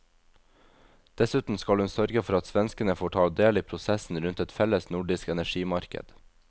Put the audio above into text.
Dessuten skal hun sørge for at svenskene får ta del i prosessen rundt et felles nordisk energimarked.